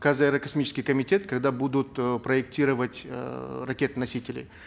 казаэрокосмический комитет когда будут э проектировать эээ ракетоносители